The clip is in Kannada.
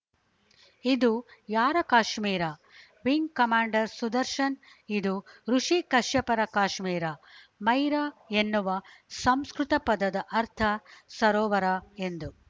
ಇದು ಯಾರ ಕಾಶ್ಮೀರ ವಿಂಗ್‌ ಕಮಾಂಡರ್‌ ಸುದರ್ಶನ ಇದು ಋುಷಿ ಕಶ್ಯಪರ ಕಾಶ್ಮೀರ ಮೈರಾ ಎನ್ನುವ ಸಂಸ್ಕೃತ ಪದದ ಅರ್ಥ ಸರೋವರ ಎಂದು